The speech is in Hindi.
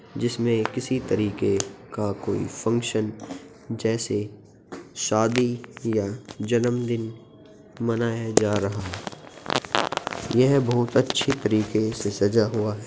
जिसमें किसी तरिके का कोई फॉग्सन जैसे शादी या जन्मदिन मनाया जा रहा है यह बहुत अच्छी तरीके से सजा हुआ है।